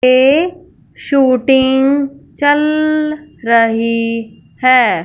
ये शूटिंग चल रही है।